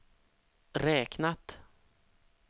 räknat